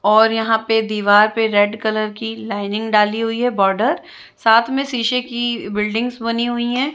और यहाँ पे दीवार पे रेड कलर की लाइनिंग डाली हुई है बॉर्डर साथ में शीशे की बिल्डिंगस बनी हुई है।